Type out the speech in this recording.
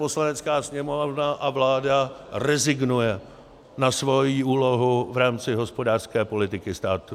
Poslanecká sněmovna a vláda rezignuje na svoji úlohu v rámci hospodářské politiky státu.